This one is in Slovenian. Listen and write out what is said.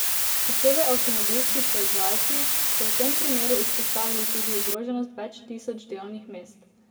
Posebej avtomobilski proizvajalci so v tem primeru izpostavili tudi ogroženost več tisoč delovnih mest.